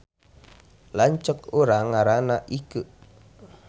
Lanceuk urang ngaranna Ikeu